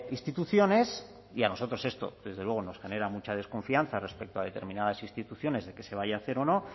instituciones y a nosotros esto desde luego nos genera mucha desconfianza respecto a determinadas instituciones de que se vaya a hacer o no